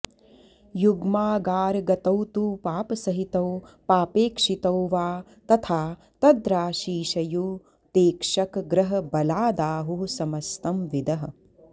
युग्मागारगतौ तु पापसहितौ पापेक्षितौ वा तथा तद्राशीशयुतेक्षकग्रहबलादाहुः समस्तं विदः